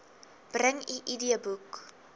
bring u idboek